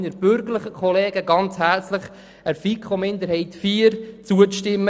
Ich bitte auch meine bürgerlichen Kollegen herzlich, der FiKo-Minderheit 4 zuzustimmen.